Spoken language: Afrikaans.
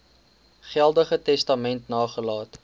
geldige testament nagelaat